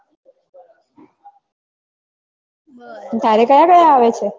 તારે કયા કયા આવે છે